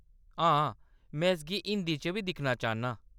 हां, में इसगी हिंदी च बी दिक्खना चाह्‌‌‌न्नां ।